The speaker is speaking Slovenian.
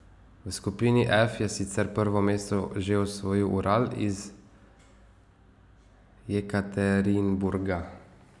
V skupini F je sicer prvo mesto že osvojil Ural iz Jekaterinburga.